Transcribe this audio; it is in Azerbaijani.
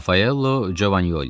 Rafaello Jovali.